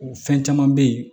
O fɛn caman be ye